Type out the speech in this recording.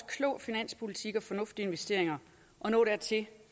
klog finanspolitik og fornuftige investeringer at nå dertil